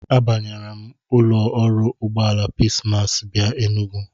Abanyere m ụlọ ọrụ ụgbọala Peace Mass bịa Enugu.